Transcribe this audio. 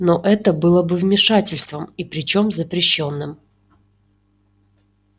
но это было бы вмешательством и причём запрещённым